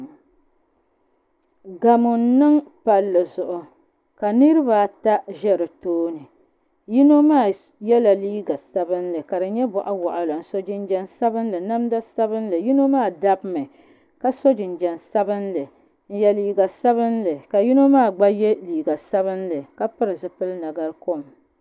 Gamo n niŋ palli zuɣu ka niraba ata ʒɛ di tooni yino maa yɛla liiga sabinli ka di nyɛ boɣa waɣala n so jinjɛm sabinli namda sabinli yino maa dabimi ka so jinjɛm sabinli n nyɛ liiga sabinli ka yino maa gba yɛ liiga sabinli ka pili zipili nagari kom